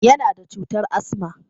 Yana da cutar asma.